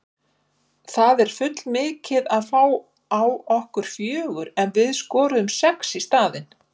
Það er full mikið að fá á okkur fjögur en við skoruðum sex í staðinn.